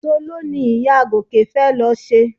Soló ni ìyá Gòkè fẹ́ lọ ṣe